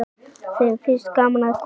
Þeim finnst gaman að koma.